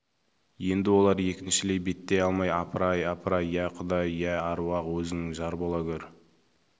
енді олар екіншілей беттей алмай апыр-ай апыр-ай иә құдай иә әруақ өзің жар бола гөр